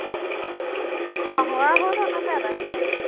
ਆਹੋ ਇਹੋ ਤਾਂ ਉਹਨੂੰ ਫ਼ਾਇਦਾ ਹੁੰਦਾ ਵਾ।